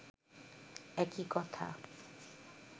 একই কথা